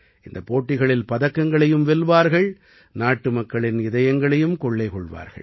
இந்தப் போட்டிகளில் பதக்கங்களையும் வெல்வார்கள் நாட்டுமக்களின் இதயங்களையும் கொள்ளை கொள்வார்கள்